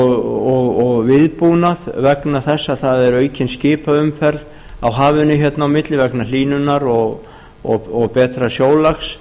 og viðbúnað vegna þess að það er aukin skipaumferð á hafinu hérna á milli vegna hlýnunar og betra sjólags